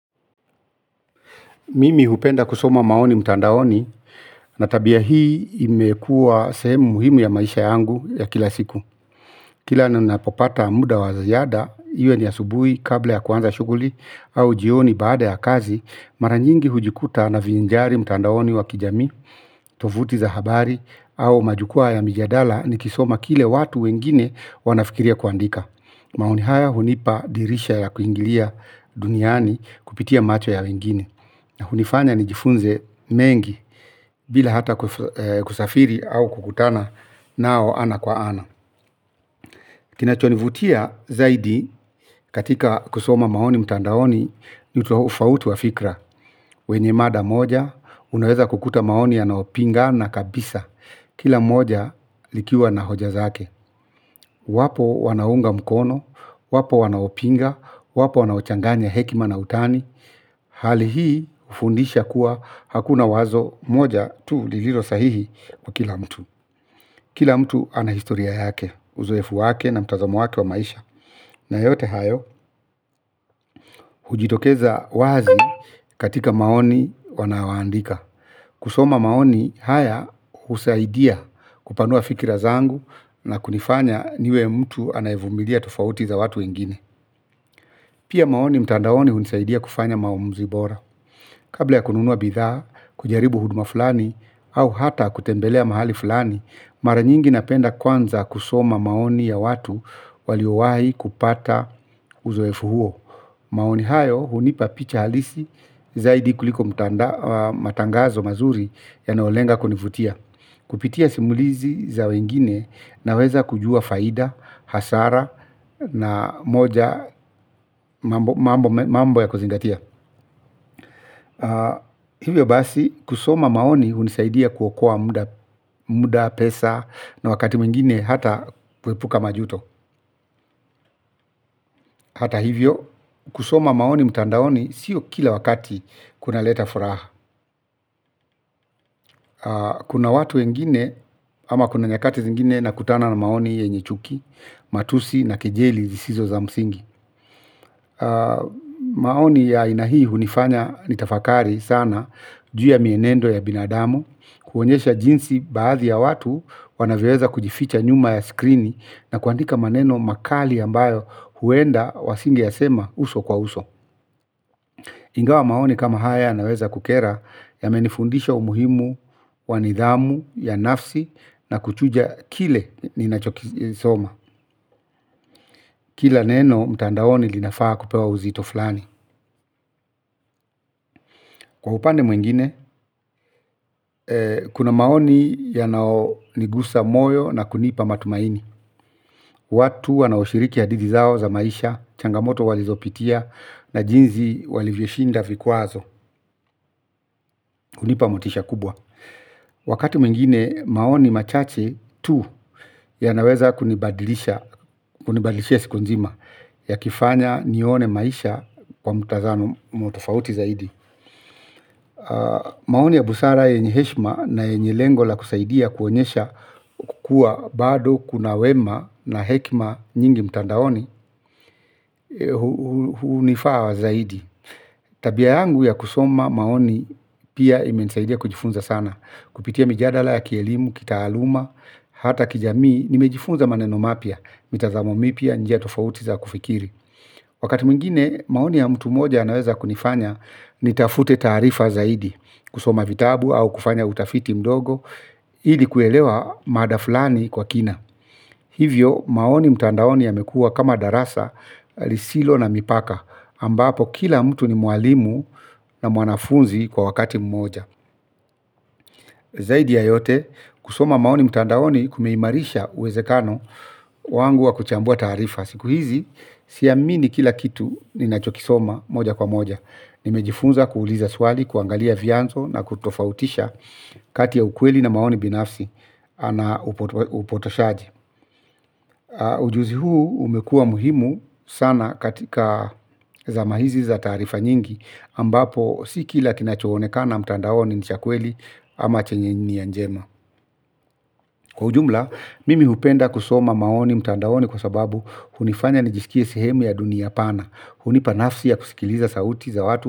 Mimi hupenda kusoma maoni mutandaoni, na tabia hii imekua semu muhimu ya maisha yangu ya kila siku. Kila ninapopata muda wa ziayada, iwe ni asubui kabla ya kwanza shuguli au jioni baada ya kazi, maranyingi hujikuta naviinjari mutandaoni wa kijami, tovuti za habari au majukua ya mijadala nikisoma kile watu wengine wanafikiria kuandika. Maoni haya hunipa dirisha ya kuingilia duniani kupitia macho ya wengine. Na hunifanya nijifunze mengi, bila hata kusafiri au kukutana nao ana kwa ana. Kinachonivutia zaidi katika kusoma maoni mtandaoni, nitofauti wa fikra. Kwenye mada moja, unaweza kukuta maoni yanaopingana kabisa. Kila moja likiwa na hoja zake. Wapo wanaunga mkono, wapo wanaopinga, wapo wanaochanganya hekima na utani. Hali hii ufundisha kuwa hakuna wazo moja tu liliro sahihi kwa kila mtu. Kila mtu ana historia yake, uzoefu wake na mtazamo watu wa maisha. Na yote hayo, hujitokeza wazi katika maoni wanawoandika. Kusoma maoni haya husaidia kupanua fikira zangu na kunifanya niwe mtu anaevumilia tofauti za watu wengine. Pia maoni mtandaoni hunisaidia kufanya maumuzi bora. Kabla ya kununuwa bithaa, kujaribu huduma fulani, au hata kutembelea mahali fulani, mara nyingi napenda kwanza kusoma maoni ya watu waliowahi kupata uzoefu huo. Maoni hayo hunipa picha halisi zaidi kuliko matangazo mazuri yanaolenga kunifutia. Kupitia simulizi za wengine naweza kujua faida, hasara na moja mambo ya kuzingatia. Hivyo basi, kusoma maoni unisaidia kuokoa muda pesa na wakati mwingine hata kwepuka majuto. Hata hivyo, kusoma maoni mutandaoni siyo kila wakati kuna leta furaha. Kuna watu wengine, ama kuna nyakati zingine nakutana na maoni yenye chuki, matusi na kijeli zisizo za msingi. Maoni ya aina hii hunifanya nitafakari sana juu ya mienendo ya binadamu, kuonyesha jinsi baadhi ya watu, wanaweweza kujificha nyuma ya skrini na kuandika maneno makali ambayo huenda wasingeyasema uso kwa uso. Ingawa maoni kama haya yanaweza kukera yamenifundisha umuhimu wanidhamu ya nafsi na kuchuja kile ninachokisoma. Kila neno mtandaoni linafaa kupewa uzito flani. Kwa upande mwingine, kuna maoni yanao nigusa moyo na kunipa matumaini. Watu wanaoshiriki ya hadidi zao za maisha, changamoto walizopitia na jinzi walivyoshinda vikuazo, hunipa motisha kubwa. Wakati mwingine, maoni machache tu ya naweza kunibadilisha, kunibadilisha siku nzima, yakifanya nione maisha kwa mutazano motofauti zaidi. Maoni ya busara yenye heshma na yenye lengo la kusaidia kuonyesha kukua bado kuna wema na hekima nyingi mtandaoni. Hunifaa wazaidi. Tabia yangu ya kusoma maoni pia imensaidia kujifunza sana. Kupitia mijadala ya kielimu, kitaaluma, hata kijamii nimejifunza maneno mapia, mitazamomi pia njia tofautiza kufikiri. Wakati muingine maoni ya mtu moja anaweza kunifanya nitafute tarifa zaidi kusoma vitabu au kufanya utafiti mdogo ili kuelewa mada fulani kwa kina. Hivyo maoni mtandaoni yamekua kama darasa lisilo na mipaka ambapo kila mtu ni mualimu na mwanafunzi kwa wakati mmoja. Zaidi ya yote, kusoma maoni mtandaoni kumeimarisha uwezekano wangu wa kuchambua tarifa. Siku hizi, siyamini kila kitu ninachokisoma moja kwa moja. Nimejifunza kuuliza swali, kuangalia vianzo na kutofautisha kati ya ukweli na maoni binafsi na upotoshaji. Ujuzi huu umekua muhimu sana katika zama hizi za tarifa nyingi ambapo sikila kinachohonekana mtandawoni ni chakweli ama chenye nia njema. Kwa ujumla, mimi hupenda kusoma maoni mtandawoni kwa sababu hunifanya nijisikie sihemu ya dunia pana. Hunipanafsi ya kusikiliza sauti za watu.